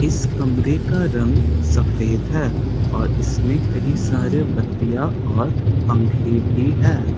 इस कमरे का रंग सफेद है और इसमें कहीं सारे बतिया और पंखे भी है।